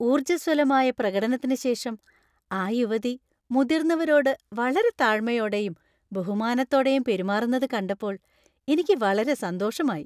ഊർജ്ജസ്വലമായ പ്രകടനത്തിന് ശേഷം ആ യുവതി മുതിർന്നവരോട് വളരെ താഴ്മയോടെയും ബഹുമാനത്തോടെയും പെരുമാറുന്നത് കണ്ടപ്പോൾ എനിക്ക് വളരെ സന്തോഷമായി.